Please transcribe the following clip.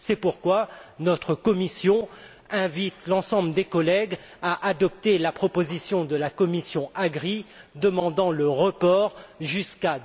C'est pourquoi notre commission invite l'ensemble des collègues à adopter la proposition de la commission AGRI demandant le report jusqu'à